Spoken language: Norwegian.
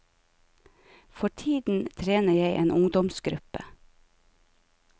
For tiden trener jeg en ungdomsgruppe.